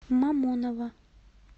мамоново